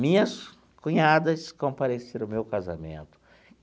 Minhas cunhadas compareceram ao meu casamento.